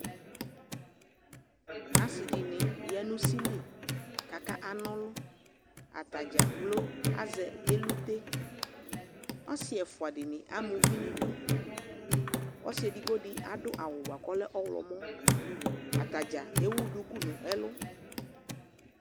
Aasiɖini ya nʋ usili k'akanɔlɔAtadzaplo azɛ elute'Asi ɛfuaɖi amu uvi niɖʋƆsi eɖigbodi, aɖʋ bua kɔlɛ ɔyɔmɔ, atadza ewu dʋku n'ɛlu